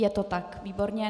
Je to tak, výborně.